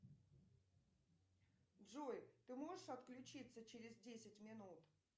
джой ты можешь отключиться через десять минут